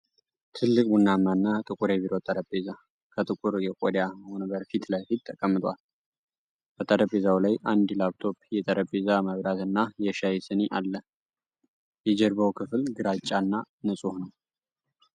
ትልቅ ቡናማና ጥቁር የቢሮ ጠረጴዛ፣ ከጥቁር የቆዳ ወንበር ፊት ለፊት ተቀምጧል። በጠረጴዛው ላይ አንድ ላፕቶፕ፣ የጠረጴዛ መብራት እና የሻይ ስኒ አለ። የጀርባው ክፍል ግራጫና ንፁህ ነው።